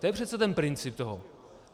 To je přece ten princip toho.